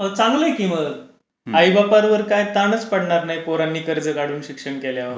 चांगला आहे कि मग. आईबापांवर काय ताणच पडणार नाही पोरांनी कर्ज काढून शिक्षण केल्यावर.